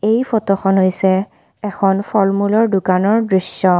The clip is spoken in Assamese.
এই ফটোখন হৈছে এখন ফল মূলৰ দোকানৰ দৃশ্য।